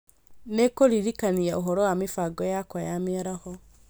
nĩ kũririkania ũhoro wa mĩbango yakwa ya mĩaraho